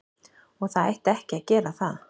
Og það ætti ekki að gera það.